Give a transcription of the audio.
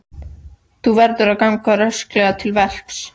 Þú verður að ganga rösklega til verks.